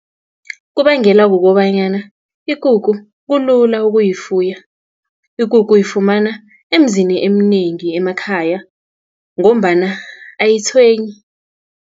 Kubangelwa kukobanyana ikukhu kulula ukuyifuya, ikukhu uyifumana emizini eminengi emakhaya, ngombana ayitshwenyi.